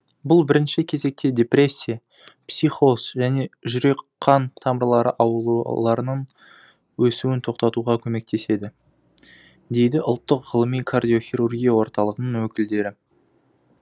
бұл бірінші кезекте депрессия психоз және жүрек қан тамырлары ауруларының өсуін тоқтатуға көмектеседі дейді ұлттық ғылыми кардиохирургия орталығының өкілдері